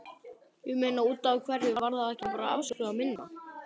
Ég meina, útaf hverju var þá ekki bara afskrifað minna?